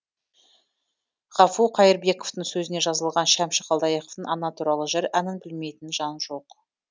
ғафу қайырбековтің сөзіне жазылған шәмші қалдаяқовтың ана туралы жыр әнін білмейтін жан жоқ